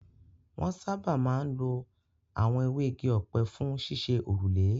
Wọn sáábà máa ń lo àwọn ewé igi ọ̀pẹ fún ṣíṣe òrùlé.